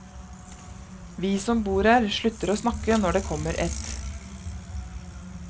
Vi som bor her slutter å snakke når det kommer et.